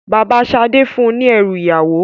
Bàbá Sadé fún un ní ẹrú ìyàwó.